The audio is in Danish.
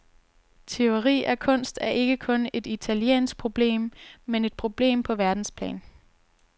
Tyveri af kunst er ikke kun et italiensk problem, men et problem på verdensplan.